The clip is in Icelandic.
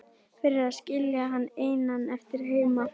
Fyrir að skilja hann einan eftir heima.